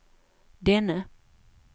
denne